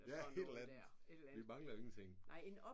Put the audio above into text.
Ja et eller andet. Vi mangler ingenting